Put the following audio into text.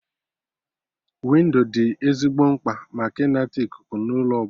Windo dị ezigbo mkpa maka ịnata ikuku na ụlọ ọbụla